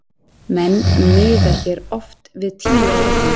Menn miða hér oft við tíu ára hring.